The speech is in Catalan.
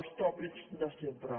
els tòpics de sempre